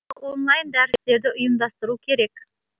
оларға онлайн дәрістерді ұйымдастыру керек